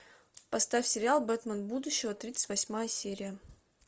поставь сериал бэтмен будущего тридцать восьмая серия